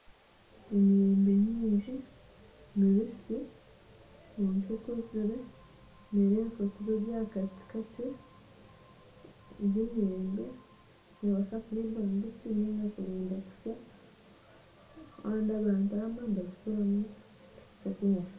Emiyembe nyingi mibisi kwonka ekuzire nerebeka kuba eri aha kati kakye, emiyembe egi nebaasa kuriibwa mbisi ninga kurinda ekatsya kandi abantu abamwe nibagikoramu ekyokunywa.